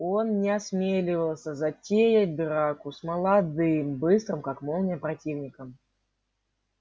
он не осмеливался затеять драку с молодым быстрым как молния противником